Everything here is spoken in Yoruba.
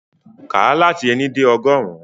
Ka lati éni de ọgọrun!